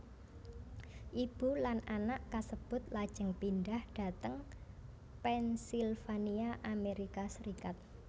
Ibu lan anak kasebut lajeng pindhah dhateng Pennsylvania Amerika Serikat